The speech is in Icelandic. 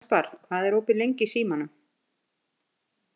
Kaspar, hvað er opið lengi í Símanum?